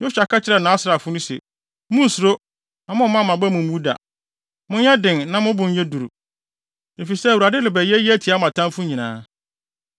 Yosua ka kyerɛɛ nʼasraafo no se, “Munnsuro na mommma mo aba mu mmu da. Monyɛ den na mo bo nyɛ duru, efisɛ Awurade rebɛyɛ eyi atia mo atamfo nyinaa.”